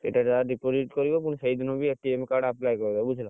ଏଇଟା ଯାହା deposit କରିବ ପୁଣି ସେଇଦିନ ବି card apply କରିବ ବୁଝିଲ।